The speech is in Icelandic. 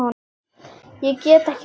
Ég get ekki beðið.